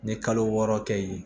N ye kalo wɔɔrɔ kɛ yen